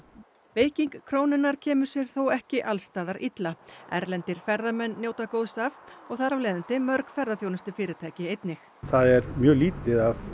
veiking krónunnar kemur sér þó ekki alls staðar illa erlendir ferðamenn njóta góðs af og þar af leiðandi mörg ferðaþjónustufyrirtæki einnig það er mjög lítið af